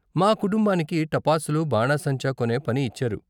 మా కుటుంబానికి టపాసులు, బాణాసంచా కొనే పని ఇచ్చారు.